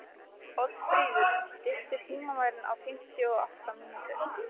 Oddfríður, stilltu tímamælinn á fimmtíu og átta mínútur.